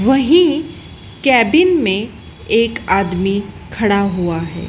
वहीं केबिन में एक आदमी खड़ा हुआ है।